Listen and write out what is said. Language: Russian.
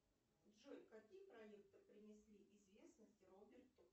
джой какие проекты принесли известность роберту